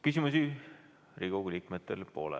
Küsimusi Riigikogu liikmetel pole.